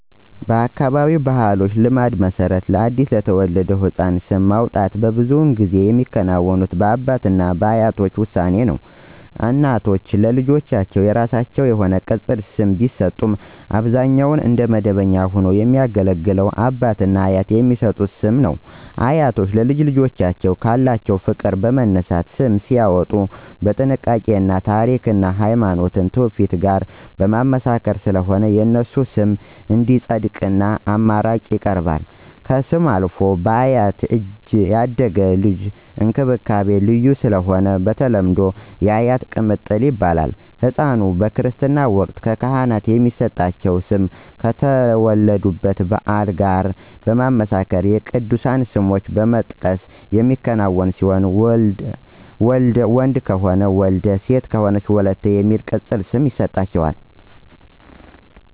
በአካባቢያችን ባሕላዊ ልማድ መሰረት ለአዲስ የተወለደ ሕፃን ስም ማውጣት ብዙውን ጊዜ የሚከናወነው በአባት እና በአያቶች ውሳኔ ነው። እናቶች ለልጆቻቸው የራሳቸው የሆነ ቅፅል ስም ቢሰጡም አብዛኛውን እንደ መደበኛ ሆኖ የሚያገለግል ግን አባት/አያት የሚሰጠው ስም ነው። አያቶች ለልጅ ልጆቻቸው ካላቸው ፍቅር በመነሳት ስም ሲያዎጡ በጥንቃቄ እና ታሪክን እና ሀይማኖታዊ ትውፊት ጋር በማመሳከር ስለሆነ የነሱ ስም እንዲፀድቅ አማራጭ ይቀርባል። ከስም አልፈው በአያት እጅ ያደጉ ልጆች እንክብካቤው ልዩ ስለሆነ በተለምዶ *የአያት ቅምጥል ይባላሉ*።ህፃኑ/ኗ በክርስትና ወቅት በካህናት የሚሰጣቸው ስም ከተወለዱበት የበዓላት ቀን ጋር በማመሳከር የቅዱሳን ስሞችን በመጥቀስ የሚከናወን ሲሆን ወንድ ከሆነ *ወልደ* የሚል ቅፅል ስም የሚሰጥ ሲሆን ሴት ከሆነች ደግሞ *ወለተ*የሚል ቅፅል ስም ይሰጣታል ማለት ነው